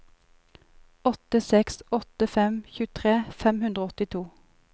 åtte seks åtte fem tjuetre fem hundre og åttito